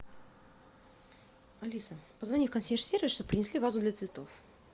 алиса позвони в консьерж сервис чтобы принесли вазу для цветов